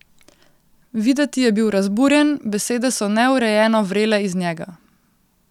Videti je bil razburjen, besede so neurejeno vrele iz njega.